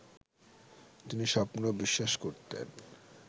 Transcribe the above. তিনি স্বপ্নেও বিশ্বাস করতেন